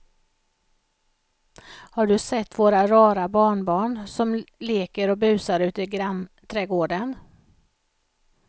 Har du sett våra rara barnbarn som leker och busar ute i grannträdgården!